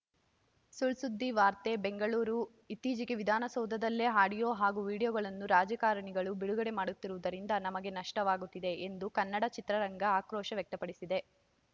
ಸುಳ್‌ಸುದ್ದಿ ವಾರ್ತೆ ಬೆಂಗಳೂರು ಇತ್ತೀಚೆಗೆ ವಿಧಾನಸೌಧದಲ್ಲೇ ಆಡಿಯೋ ಹಾಗೂ ವಿಡಿಯೋಗಳನ್ನು ರಾಜಕಾರಣಿಗಳು ಬಿಡುಗಡೆ ಮಾಡುತ್ತಿರುವುದರಿಂದ ನಮಗೆ ನಷ್ಟವಾಗುತ್ತಿದೆ ಎಂದು ಕನ್ನಡ ಚಿತ್ರರಂಗ ಆಕ್ರೋಶ ವ್ಯಕ್ತಪಡಿಸಿದೆ